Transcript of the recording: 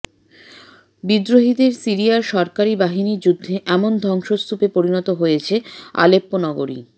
বিদ্রোহীদের সিরিয়ার সরকারি বাহিনীর যুদ্ধে এমন ধ্বংসস্তূপে পরিণত হয়েছে আলেপ্পো নগরী